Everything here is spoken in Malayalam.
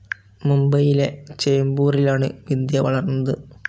മുംബൈയിലെ ചേംബൂറിലാണ് വിദ്യ വളർന്നത്.